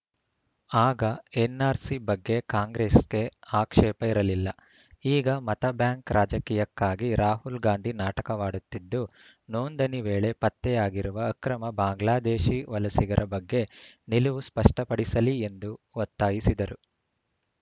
ಆಗ ಎನ್‌ಆರ್‌ಸಿ ಬಗ್ಗೆ ಕಾಂಗ್ರೆಸ್‌ಗೆ ಆಕ್ಷೇಪ ಇರಲಿಲ್ಲ ಈಗ ಮತ ಬ್ಯಾಂಕ್‌ ರಾಜಕೀಯಕ್ಕಾಗಿ ರಾಹುಲ್‌ ಗಾಂಧಿ ನಾಟಕವಾಡುತ್ತಿದ್ದು ನೋಂದಣಿ ವೇಳೆ ಪತ್ತೆಯಾಗಿರುವ ಅಕ್ರಮ ಬಾಂಗ್ಲಾದೇಶಿ ವಲಸಿಗರ ಬಗ್ಗೆ ನಿಲುವು ಸ್ಪಷ್ಟಪಡಿಸಲಿ ಎಂದು ಒತ್ತಾಯಿಸಿದರು